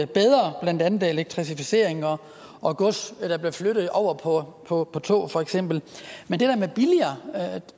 bedre blandt andet elektrificeringen og at gods bliver flyttet over på på tog for eksempel men